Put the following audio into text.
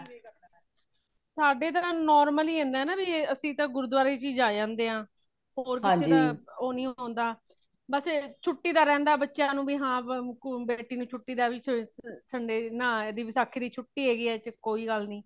ਸਾਡੇ ਤਾ normal ਹੀ ਹੋਂਦਾ ਹੈ ਬਈ ਅਸੀਂ ਤੇ ਗੁਰਦੁਆਰੇ ਚ ਹੀ ਜਾਏ ਆਂਦੇ ਹਾਂ ਹੋਰ ਕਿਸੀ ਦਾ ਬੱਸ ਛੁਟੀ ਦਾ ਰਹਿੰਦਾ ਬੱਚਿਆਂ ਨੂੰ ਹੈ ਹਾਂ ਬੇਟੀ ਨੂੰ ਛੁਟੀ ਵਿੱਚ sunday ਨਾ ਆਏ ਵਸਾਖ਼ੀ ਦੀ ਛੁਟੀ ਹੈਗੀ ਹੈ ਕੋਈ ਗੱਲ ਨਹੀਂ